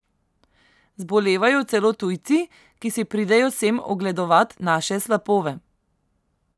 Zbolevajo celo tujci, ki si pridejo sem ogledovat naše slapove.